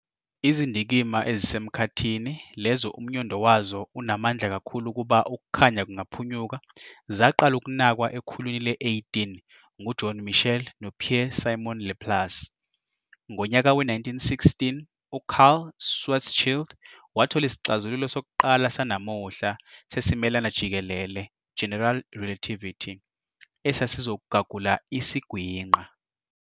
Izindikimba ezisemkhathini lezo umnyondo wazo unamandla kakhulu ukuba ukukhanya kungaphunyuka zaqala ukunakwa ekhulwini le-18 ngu-John Michell no-Pierre-Simon Laplace. Ngonyaka we-1916, u-Karl Schwarzschild wathola isixazululo sokuqala sanamuhla sesimelana jikelele, general relativity," esasizogagula isiGwinqa.